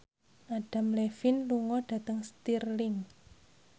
Adam Levine lunga dhateng Stirling